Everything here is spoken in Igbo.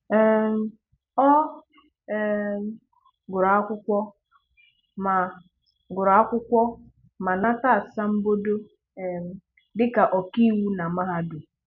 um Ọ um gùrù akwụkwọ ma gùrù akwụkwọ ma nàtà asàmbòdò um dị́ka ọ̀kà iwu nà mahádùm.